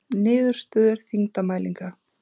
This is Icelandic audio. Niðurstöður þyngdarmælinga.